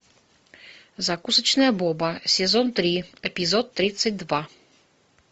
закусочная боба сезон три эпизод тридцать два